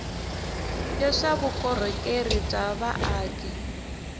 ya swa vukorhokeri bya vaaki